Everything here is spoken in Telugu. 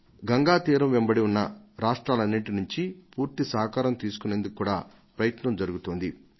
గంగా తీరం వెంబడి ఉన్న రాష్ట్రాలన్నింటి నుంచి పూర్తి సహకారం తీసుకునేందుకు కూడా ప్రయత్నం జరుగుతోంది